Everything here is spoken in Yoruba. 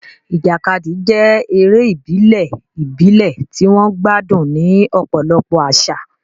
Ìjàkadì jẹ́ eré ìbílẹ̀ ìbílẹ̀ tí wọ́n gbádùn ní ọ̀pọ̀lọpọ̀ àṣà.